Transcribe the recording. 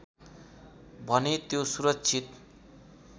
भने त्यो सुरक्षित